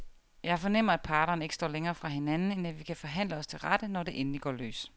Jeg fornemmer, at parterne ikke står længere fra hinanden, end at vi kan forhandle os til rette, når det endelig går løs.